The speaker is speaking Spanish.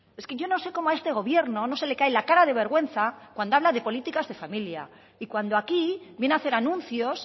es que yo no sé cómo a este gobierno no se le cae la cara de vergüenza cuando habla de políticas de familia y cuando aquí viene a hacer anuncios